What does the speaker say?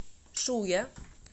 шуя